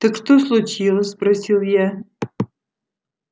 так что случилось спросил я